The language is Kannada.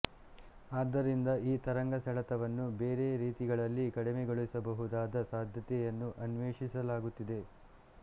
ಆದ್ದರಿಂದ ಈ ತರಂಗ ಸೆಳೆತವನ್ನು ಬೇರೆ ರೀತಿಗಳಲ್ಲಿ ಕಡಿಮೆಗೊಳಿಸಬಹುದಾದ ಸಾಧ್ಯತೆಯನ್ನು ಅನ್ವೇಷಿಸಲಾಗುತ್ತಿದೆ